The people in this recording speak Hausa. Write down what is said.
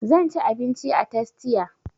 Zan ci abinci a tastia